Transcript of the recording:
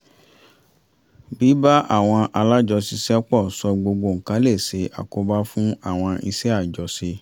bíbá àwọn alájọṣiṣẹ́pọ̀ sọ gbogbo nǹkan lè ṣe àkóbá fún àwọn iṣẹ́ àjọṣe